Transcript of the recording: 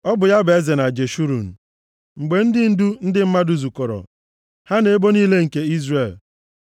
Ọ bụ ya bụ eze na Jeshurun, mgbe ndị ndu ndị mmadụ zukọrọ ha na ebo niile nke Izrel.